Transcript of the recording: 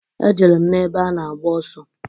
E jere m n'ebe a na-agba ọsọ.